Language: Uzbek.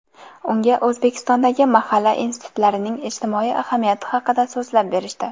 Unga O‘zbekistondagi mahalla institutlarining ijtimoiy ahamiyati haqida so‘zlab berishdi.